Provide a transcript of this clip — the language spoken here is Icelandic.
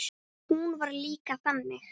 Hún var líka þannig.